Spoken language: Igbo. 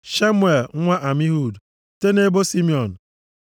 Shemuel nwa Amihud, site nʼebo Simiọn